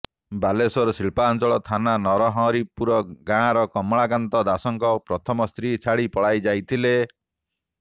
ବାଲେଶ୍ୱର ଶିଳ୍ପାଞ୍ଚଳ ଥାନା ନରହରିପୁର ଗାଁର କମଳାକାନ୍ତ ଦାସଙ୍କ ପ୍ରଥମ ସ୍ତ୍ରୀ ଛାଡ଼ି ପଳାଇଯାଇଥିଲେ